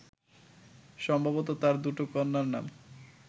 সম্ভবত তাঁর দুটো কন্যার নাম